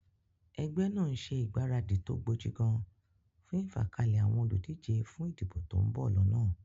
Egbé nàá n se ìgbáradì tó gbojigan fún ìfàkalè àwon olùdíje fún ìdìbò ton bò lónà